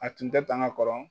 A tun tɛ tan ka kɔrɔ.